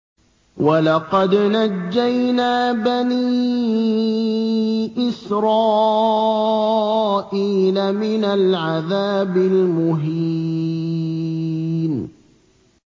وَلَقَدْ نَجَّيْنَا بَنِي إِسْرَائِيلَ مِنَ الْعَذَابِ الْمُهِينِ